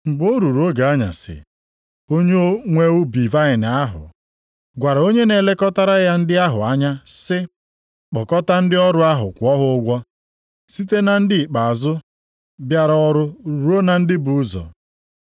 “Mgbe o ruru oge anyasị, onye nwe ubi vaịnị ahụ gwara onye na-elekọtara ya ndị ahụ anya sị, ‘Kpọkọta ndị ọrụ ahụ kwụọ ha ụgwọ, site na ndị ikpeazụ bịara ọrụ ruo na ndị bu ụzọ.’